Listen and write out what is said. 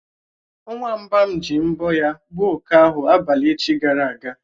Nwamba m ji mbọ̀ ya gbuo oké ahụ abalị echi gara aga.